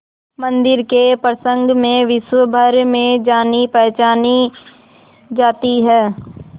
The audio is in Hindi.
मंदिर के प्रसंग में विश्वभर में जानीपहचानी जाती है